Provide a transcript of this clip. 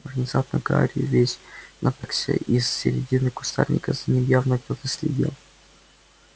внезапно гарри весь напрягся из середины кустарника за ним явно кто-то следил